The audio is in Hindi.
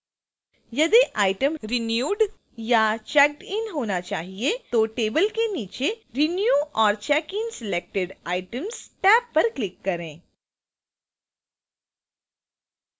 यदि item renewed या checked in होना चाहिए तो table के नीचे renew or check in selected items tab पर click करें